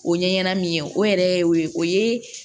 O ɲɛda min ye o yɛrɛ o ye o ye